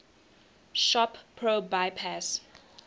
shop pro bypass